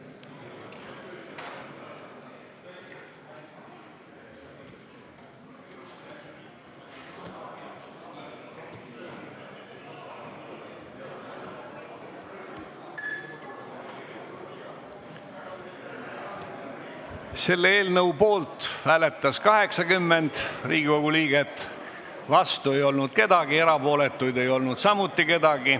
Hääletustulemused Selle eelnõu poolt hääletas 80 Riigikogu liiget, vastuolijaid ega erapooletuid ei ole.